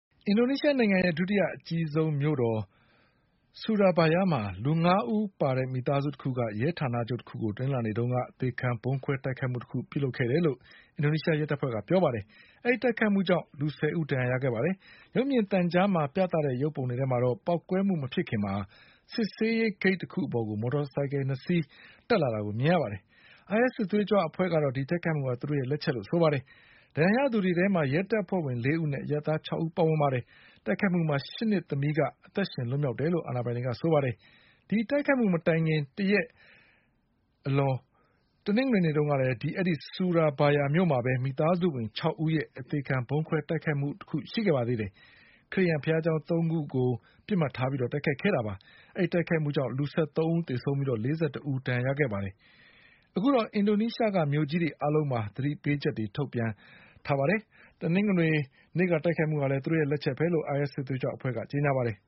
အင်ဒိုနီးရှားနိုင်ငံရဲ့ဒုတိယအကြီးဆုံးမြို့တော် Surabaya မှာ လူငါးဦးပါတဲ့မိသားစုတခုက ရဲဌာနချုပ်တခုကို တနင်္လာနေ့ တုန်းက အသေခံဗုံးခွဲတိုက်ခိုက်မှုတခုလုပ်ခဲ့တယ်လို့ အင်ဒိုနီးရှားရဲတပ်ဖွဲ့ကပြောပါတယ်။ ဒီတိုက်ခိုက်မှုကြောင့် လူ ဆယ်ဦးဒဏ်ရာရခဲ့ပါတယ်။ ရုပ်မြင်သံကြားမှာပြသတဲ့ရုပ်ပုံတွေထဲမှာတော့ ပေါက်ကွဲမှုမဖြစ်ခင် စစ်ဆေးရေးဂိတ်တခု အပေါ်ကို မော်တော်ဆိုင်ကယ်၂စီးတက်လာတာကိုမြင်ရပါတယ်။ IS စစ်သွေးကြွအဖွဲ့က ဒီတိုက်ခိုက်မှုဟာ သူတို့ရဲ့ လက်ချက်လို့ဆိုပါတယ်။ဒဏ်ရာရသူတွေထဲမှာ ရဲတပ်ဖွဲ့ဝင်လေးဦးနဲ့ အရပ်သား၆ဦးပါဝင်ပါတယ်။ တိုက်ခိုက်မှုမှာ ၈နှစ် သမီးတဦးက အသက်ရှင်လွတ်မြောက်တယ်လို့အာဏာပိုင်တွေကပြောပါတယ်။ ဒီတိုက်ခိုက်မှုမတိုင်ခင် တရက်အလွန် တနင်္ဂနွေနေ့တုန်းကလည်း အဲဒီဆူရာဘာယမြို့မှာပဲ မိသားစုဝင်၆ဦးရဲ့အသေခံဗုံးခွဲတိုက်ခိုက်မှုရှိခဲ့ပါသေးတယ်။ ခရစ်ယာန်ဘုရားကျောင်းသုံးခုကို ပစ်မှတ်ထားပြီးတိုက်ခဲ့တာပါ။ အဲဒီ တိုက်ခိုက်မှုကြောင့် လူ၁၃ဦးသေဆုံးပြီး ၄၁ဦး ဒဏ်ရာရခဲ့ ကြပါသေးတယ်။ အခုတော့ အင်ဒိုနီးရှားက မြို့ကြီးတွေအားလုံး မှာ သတိပေးချက်တွေထုတ်ပြန်ထားပါတယ်။ တနင်္ဂနွေ နေ့က တိုက်ခိုက်မှုဟာလည်း သူတို့ရဲ့လက်ချက်ပဲလို့ IS စစ်သွေး ကြွအဖွဲ့ကကြေညာပါတယ်။